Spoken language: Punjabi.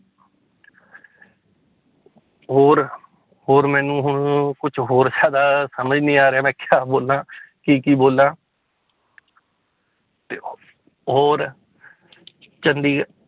ਹੋਰ ਹੋਰ ਮੈਨੂੰ ਹੁਣ ਕੁਛ ਹੋਰ ਜ਼ਿਆਦਾ ਸਮਝ ਨੀ ਆ ਰਿਹਾ ਮੈਂ ਕਿਆ ਬੋਲਾਂ ਕੀ ਕੀ ਬੋਲਾਂ ਹੋਰ ਚੰਡੀਗ